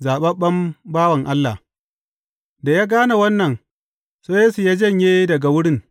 Zaɓaɓɓen bawan Allah Da ya gane wannan, sai Yesu ya janye daga wurin.